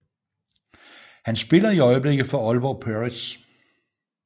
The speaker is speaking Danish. Han spiller i øjeblikket for Aalborg Pirates